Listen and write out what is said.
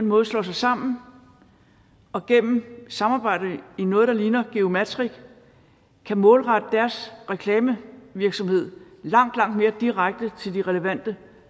måde slår sig sammen og gennem samarbejde i noget der ligner geomatic kan målrette deres reklamevirksomhed langt langt mere direkte til de relevante